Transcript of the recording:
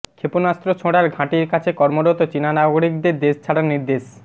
ক্ষেপণাস্ত্র ছোঁড়ার ঘাঁটির কাছে কর্মরত চিনা নাগরিকদের দেশ ছাড়ার নির্দেশ